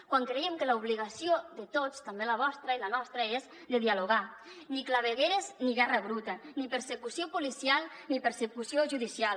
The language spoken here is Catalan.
quan creiem que l’obligació de tots també la vostra i la nostra és de dialogar ni clavegueres ni guerra bruta ni persecució policial ni persecució judicial